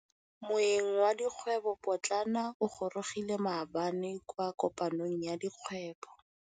Moêng wa dikgwêbô pôtlana o gorogile maabane kwa kopanong ya dikgwêbô.